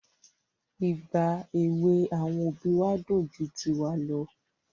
Ìgbà èwè àwọn òbí wa dùn ju tiwa lọ.